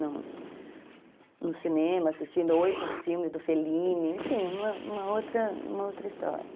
No cinema, assistindo oito filmes do Fellini, enfim, uma uma outra história.